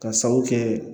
Ka sabu kɛ